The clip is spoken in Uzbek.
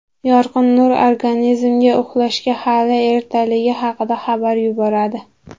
Yorqin nur organizmga uxlashga hali ertaligi haqida xabar yuboradi.